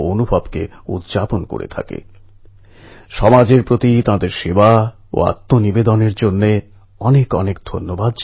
পুরনো বন্ধুরা খুবই মূল্যবান